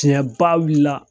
Tiɲɛ ba wuli la.